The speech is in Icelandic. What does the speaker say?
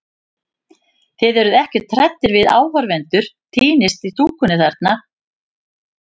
Þið eruð ekkert hræddir við að áhorfendur týnist í stúkunni þar?